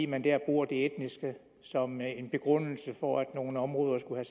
man dér bruger det etniske som begrundelse for at nogle områder skulle